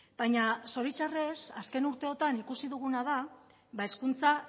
baina zoritxarrez azken urte hauetan ikusi duguna da hezkuntza